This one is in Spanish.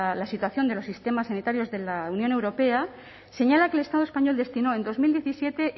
la situación de los sistemas sanitarios de la unión europea señala que el estado español destinó en dos mil diecisiete